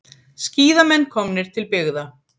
Skíðamenn komnir til byggða